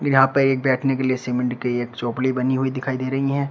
यहां पे एक बैठने के लिए सीमेंट की एक बनी हुई दिखाई दे रही हैं।